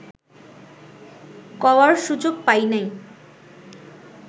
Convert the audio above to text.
কওয়ার সুযোগ পাই নাই